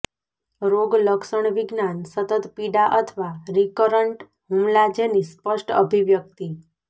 રોગલક્ષણવિજ્ઞાન સતત પીડા અથવા રિકરન્ટ હુમલા જેની સ્પષ્ટ અભિવ્યક્તિ